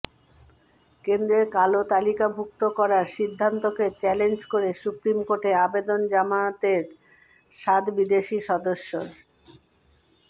কেন্দ্রের কালো তালিকাভুক্ত করার সিদ্ধান্তকে চ্যালেঞ্জ করে সুপ্রিম কোর্টে আবেদন জামাতের সাত বিদেশি সদস্যের